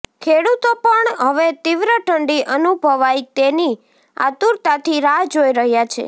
ખેડૂતો પણ હવે તીવ્ર ઠંડી અનુભવાય તેની આતુરતાથી રાહ જોઇ રહ્યા છે